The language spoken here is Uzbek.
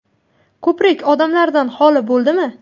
Ko‘prik odamlardan xoli bo‘ldimi?